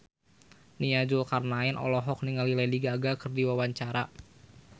Nia Zulkarnaen olohok ningali Lady Gaga keur diwawancara